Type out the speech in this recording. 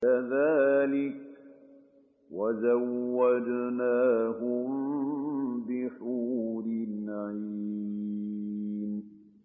كَذَٰلِكَ وَزَوَّجْنَاهُم بِحُورٍ عِينٍ